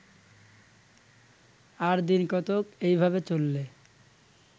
আর দিনকতক এইভাবে চললে